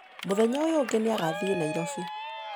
Mũthenya ũyũ ũngĩ nĩ agathiĩ Nairobi.